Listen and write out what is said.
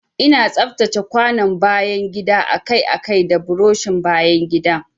Ina tsaftace kwanon bayan gida akai-akai da burushin bayan gida.